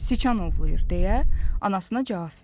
Siçan ovlayır deyə anasına cavab verdi.